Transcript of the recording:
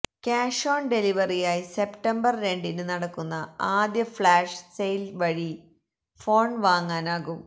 cash on ഡെലിവറിയായി September രണ്ടിന് നടക്കുന്ന ആദ്യ ഫ്ലാഷ് സെയില് വഴി ഫോണ് വാങ്ങാനാകും